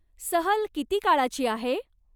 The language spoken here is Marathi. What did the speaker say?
सहल किती काळाची आहे?